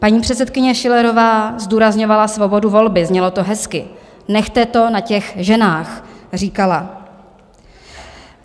Paní předsedkyně Schillerová zdůrazňovala svobodu volby, znělo to hezky - nechte to na těch ženách, říkala.